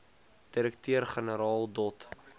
direkteur generaal dot